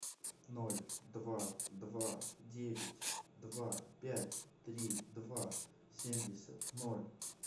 ноль два два девять два пять три два семьдесят ноль